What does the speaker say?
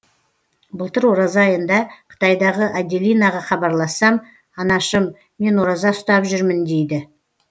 былтыр ораза айында қытайдағы аделинаға хабарлассам анашым мен ораза ұстап жүрмін дейді